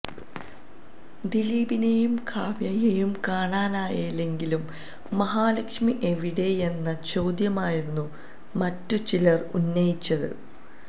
ദിലീപിനേയും കാവ്യയേയും കാണാനായെങ്കിലും മഹാലക്ഷ്മി എവിടെയെന്ന ചോദ്യമായിരുന്നു മറ്റ് ചിലര് ഉന്നയിച്ചത്